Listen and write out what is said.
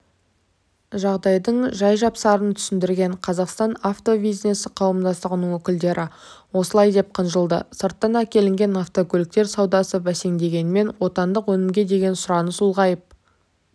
жағдайдың жай-жапсарын түсіндірген қазақстан авто бизнесі қауымдастығының өкілдері осылай деп қынжылды сырттан әкелінген автокөліктер саудасы бәсеңдегенімен отандық өнімге деген сұраныс ұлғайып